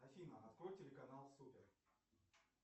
афина открой телеканал супер